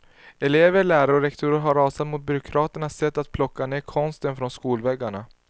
Elever, lärare och rektorer har rasat mot byråkraternas sätt att plocka ned konsten från skolväggarna.